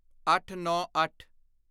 ਅੱਠਨੌਂਅੱਠ